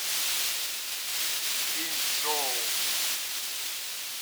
линьчжоу